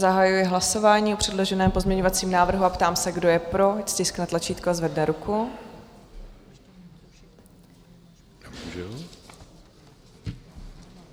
Zahajuji hlasování o předloženém pozměňovacím návrhu a ptám se, kdo je pro, ať stiskne tlačítko a zvedne ruku.